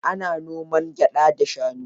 Ana noman gyaɗa da shanu.